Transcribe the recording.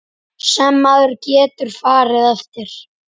Sem maður getur farið eftir.